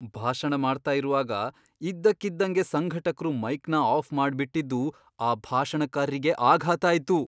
ಭಾಷಣ ಮಾಡ್ತಾ ಇರುವಾಗ ಇದ್ದಕ್ಕಿದ್ದಂಗೆ ಸಂಘಟಕ್ರು ಮೈಕ್ನ ಆಫ್ ಮಾಡ್ಬಿಟಿದ್ದು ಆ ಭಾಷಣಕಾರ್ರಿಗೆ ಆಘಾತ ಆಯ್ತು.